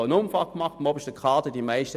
Die Jungen wünschen sie nicht.